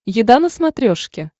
еда на смотрешке